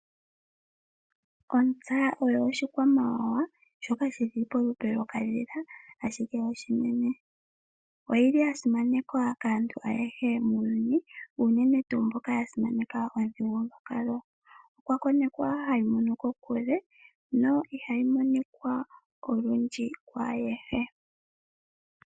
Ontsa oyo oshikwamawawa shoka shili polupe lokadhila ashike oshinene, oyili yasimanekwa kaantu ayehe muuyuni unene tu mboka yasimaneka omuthigulu gwa kalo okwa konekwa hayi mono kokule no ihayi monikwa olundju kwaayehe.